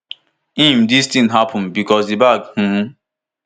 im dis tin happun becos di bag um